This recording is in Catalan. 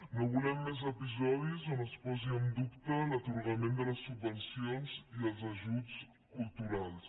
no volem més episodis en els quals hi ha en dubte l’atorgament de les subvencions i els ajuts culturals